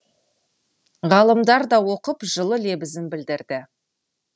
ғалымдар да оқып жылы лебізін білдірді